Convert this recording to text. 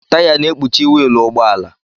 Taya na-ekpuchi wiilụ ụgbọala.